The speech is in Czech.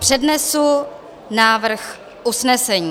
Přednesu návrh usnesení.